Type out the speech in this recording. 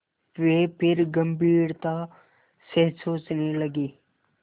वे फिर गम्भीरता से सोचने लगे